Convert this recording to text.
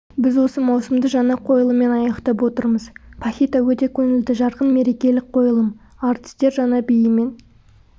біз осы маусымды жаңа қойлыммен аяқтап отырмыз пахита өте көңілді жарқын мерекелік қойылым әртістер жаңа биімен